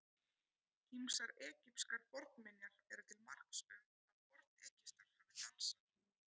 Ýmsar egypskar fornminjar eru til marks um að Forn-Egyptar hafi dansað.